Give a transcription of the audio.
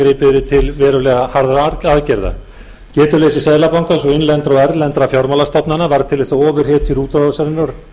gripið yrði til verulega harðra aðgerða getuleysi seðlabankans og innlendra og erlendra fjármálastofnana var til þess að ofurhiti útrásarinnar